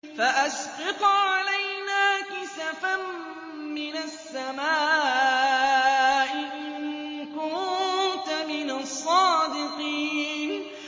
فَأَسْقِطْ عَلَيْنَا كِسَفًا مِّنَ السَّمَاءِ إِن كُنتَ مِنَ الصَّادِقِينَ